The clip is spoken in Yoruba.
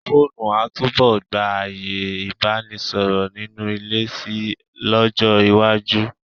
Fóònù a túbọ̀ gba ààyè Ìbánisọ̀rọ̀ nínú ilé si lọ́jọ́ iwájú.